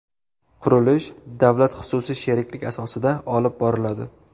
Qurilish davlat-xususiy sheriklik asosida olib boriladi.